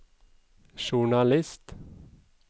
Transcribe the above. journalist